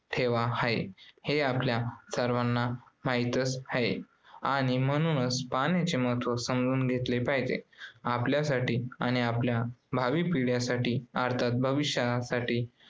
ठेवा आहे हे आपल्या सर्वांना माहीत आहे आणि म्हणूनच पाण्याचे महत्त्व समजून घेतले पाहिजे. आपल्यासाठी आणि आपल्या भावी पिढ्यांसाठी